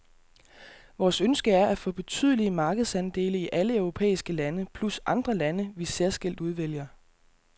Vores ønske er at få betydelige markedsandele i alle europæiske lande plus andre lande, vi særskilt udvælger.